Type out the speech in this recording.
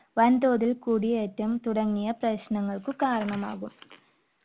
വൻതോതിൽ കുടിയേറ്റം തുടങ്ങിയ പ്രശ്നങ്ങൾക്ക് കാരണമാകും.